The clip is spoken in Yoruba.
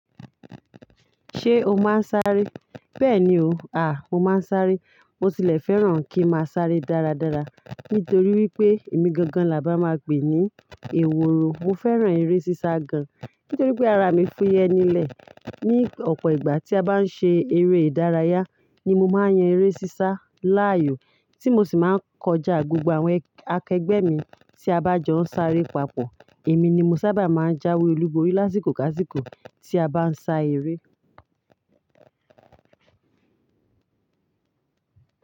Ṣé o máa ń sáré? Bẹ́ẹ̀ni o, à, mo máa ń sáré. Mo tilẹ̀ fẹ́ràn kí n máa sáré dáradára nítorí wípé èmi gangan là bá máa pè ní èwòro. Mo fẹ́ràn eré sísá gan nítorí pé ara mi fúyẹ́ nílẹ̀. Ni ọ̀pọ̀ ìgbà tí a bá ń ṣe eré ìdárayá ni mo máa ń yan eré sísá láàyò, tí mo sì máa ń kọjá gbogbo àwọn akẹgbẹ́ mi tí a bá jọ ń sáré papọ̀. Èmi ni mo sábà máa ń jáwé olúborí lásìkò ká sìkò tí a bá ń sa eré.